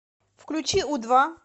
включи у два